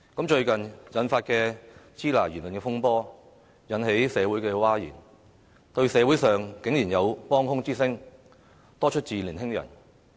最近發生的"支那"言論風波，引起社會譁然，但社會上竟然有幫腔之聲，多出自年輕人。